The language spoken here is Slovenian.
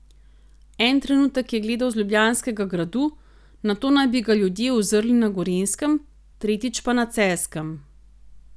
En trenutek je gledal z Ljubljanskega gradu, nato naj bi ga ljudje uzrli na Gorenjskem, tretjič pa na Celjskem.